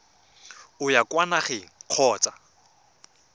o ya kwa nageng kgotsa